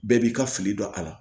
Bɛɛ b'i ka fili don a la